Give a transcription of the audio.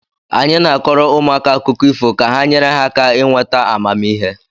Anyị na-akọọrọ ụmụaka akụkọ ifo ka ha nyere ha aka ịnweta amamihe